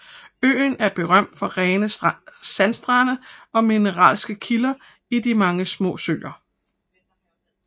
Øen er berømt for rene sandstrande og mineralske kilder i de mange små søer